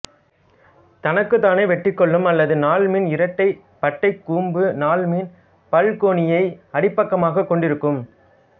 தனக்குத்தானே வெட்டிக்கொள்ளும் அல்லது நாள்மீன் இரட்டைப் பட்டைக்கூம்பு நாள்மீன் பல்கோணியை அடிப்பக்கமாகக் கொண்டிருக்கும்